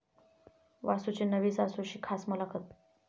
वासूची नवी सासू'शी खास मुलाखत